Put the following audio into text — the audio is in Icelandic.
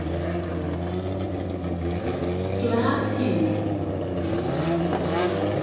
Glaðheimum